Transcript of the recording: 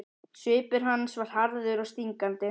Svipur hans var harður og stingandi.